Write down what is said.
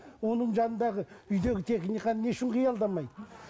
оның жанында үйдегі техниканы не үшін қиялдамайды